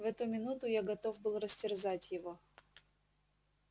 в эту минуту я готов был растерзать его